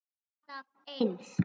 Alltaf eins!